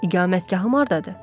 İqamətgahım hardadır?